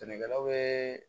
Sɛnɛkɛlaw bɛ